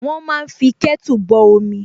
Wọ́n máa fí kẹ́tù bọ omi